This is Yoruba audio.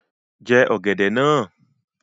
Jẹ ọ̀gẹ̀dẹ̀ náà